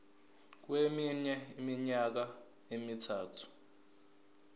kweminye iminyaka emithathu